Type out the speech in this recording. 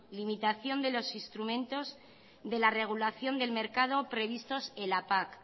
limitación de los instrumentos de la regulación del mercado previstos en la pac